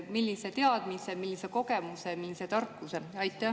Millise teadmise, millise kogemuse, millise tarkuse?